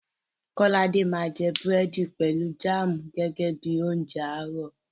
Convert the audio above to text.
Kọ́ládé máa jẹ búrẹ̀dì pẹ̀lú jáàmù gẹ́gẹ́ bí i oúnjẹ àárọ̀.